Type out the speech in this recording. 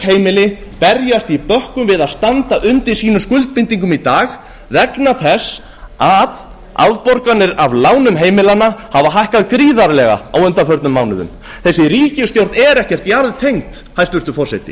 heimili berjast í bökkum við að standa undir sínum skuldbindingum í dag vegna þess að afborganir af lánum heimilanna hafa hækkað gríðarlega á undanförnum mánuðum þessi ríkisstjórn er ekkert jarðtengd hæstvirtur forseti